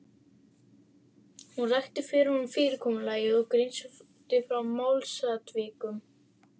Hún rakti fyrir honum fyrirkomulagið og greindi frá málsatvikum.